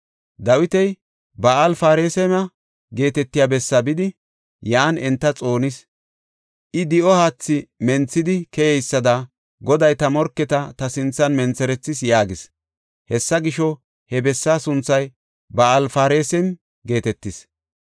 Dawiti Ba7al-Parasime geetetiya bessaa bidi, yan enta xoonis. I, “Di7o haathi menthidi keyeysada Goday ta morketa ta sinthan mentherethis” yaagis. Hessa gisho, he bessa sunthay Ba7al-Parasime geetetis.